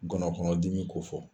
Ngɔnɔnkɔnɔdimi ko fɔ.